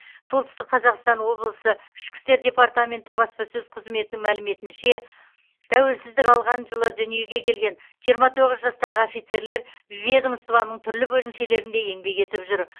солтүстік қазақстан облысы ішкі істер департаменті баспасөз қызметінің мәліметінше тәуелсіздік алған жылы дүниеге келген жиырма тоғыз жастағы офицерлер ведомствоның түрлі бөлімшелерінде еңбек етіп жүр